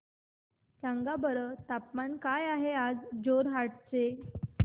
सांगा बरं तापमान काय आहे जोरहाट चे